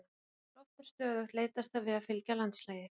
Þegar loft er stöðugt leitast það við að fylgja landslagi.